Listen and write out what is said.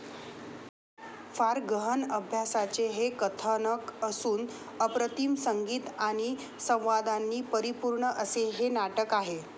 फार गहण अभ्यासाचे हे कथानक असून अप्रतिम संगीत आणि संवादांनी परिपूर्ण असे हे नाटक आहे.